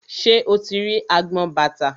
Ṣé o ti rí agbọn bàtà?